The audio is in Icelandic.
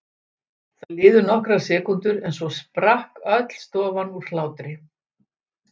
Það liðu nokkrar sekúndur en svo sprakk öll stofan úr hlátri.